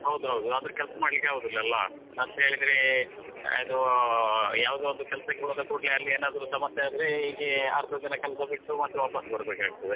ಹೌದು ಹೌದು ಅಂದ್ರೆ ಕೆಲಸ ಮಾಡ್ಲಿಕೆ ಆಗುದಿಲ್ಲಲಾ ಅಂತೇಳಿದ್ರೆ ಅದು ಯಾವ್ದೊಂದು ಕೆಲಸಕ್ಕೆ ಹೋದ ಕೂಡ್ಲೆ ಅಲ್ಲಿ ಏನಾದ್ರು ಸಮಸ್ಯೆ ಆದ್ರೆ ಹೀಗೆ ಅರ್ಧ ದಿನ ಕೆಲಸ ಬಿಟ್ಟು ಮತ್ತೆ ವಾಪಾಸ್ ಬರ್ಬೇಕಾಗ್ತದೆ.